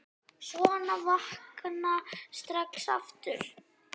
Sofna og vakna strax aftur.